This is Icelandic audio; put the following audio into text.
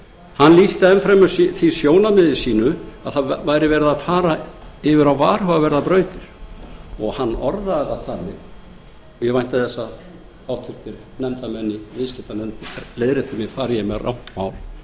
hann lýsti enn fremur því sjónarmiði sínu að menn væru að fara yfir á varhugaverðar brautir hann orðaði það þannig ég vænti þess að háttvirtur nefndarmenn í viðskiptanefnd leiðrétti mig fari ég með rangt mál